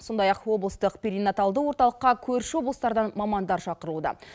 сондай ақ облыстық перенаталды орталыққа көрші облыстардан мамандар шақырылуда